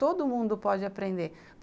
Todo mundo pode aprender.